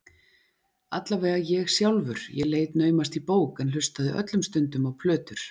Alla vega ég sjálfur, ég leit naumast í bók en hlustaði öllum stundum á plötur.